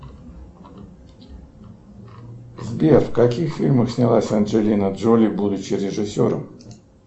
сбер в каких фильмах снялась анджелина джоли будучи режиссером